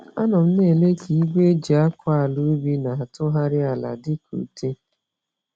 Anọ m nele ka igwe eji-akọ-àlà-ubi na-atụgharị ala dị ka ute.